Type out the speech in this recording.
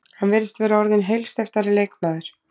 Hann virðist vera orðinn heilsteyptari leikmaður.